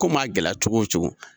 Ko maa gɛlɛya cogo o cogo.